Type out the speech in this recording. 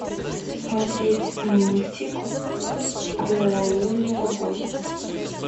смотреть мультик про лунного гостя